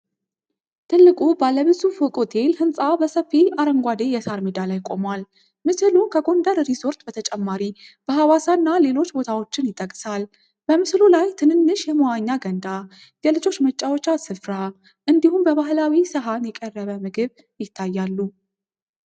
ትልቁ ባለ ብዙ ፎቅ ሆቴል ህንጻ በሰፊ አረንጓዴ የሳር ሜዳ ላይ ቆሟል። ምስሉ ከጎንደር ሪዞርት በተጨማሪ በሀዋሳ እና ሌሎች ቦታዎችን ይጠቅሳል። በምስሉ ላይ ትንንሽ የመዋኛ ገንዳ፣ የልጆች መጫወቻ ስፍራ እንዲሁም በባህላዊ ሰሃን የቀረበ ምግብ ይታያሉ።